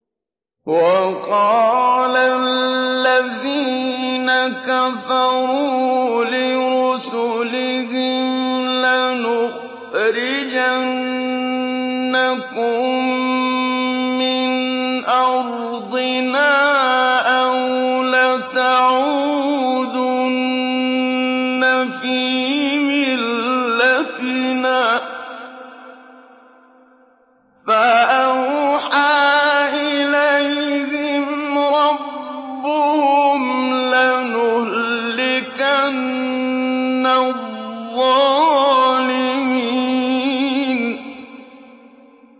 وَقَالَ الَّذِينَ كَفَرُوا لِرُسُلِهِمْ لَنُخْرِجَنَّكُم مِّنْ أَرْضِنَا أَوْ لَتَعُودُنَّ فِي مِلَّتِنَا ۖ فَأَوْحَىٰ إِلَيْهِمْ رَبُّهُمْ لَنُهْلِكَنَّ الظَّالِمِينَ